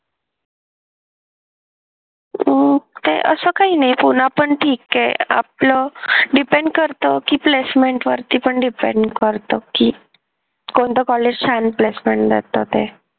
अह असं काही नाही पुणे पण ठीक आहे आपलं depend करत कि placement वरती पण depend करत कि कोणतं कॉलेज चांगली placement देत ते